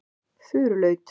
Furulaut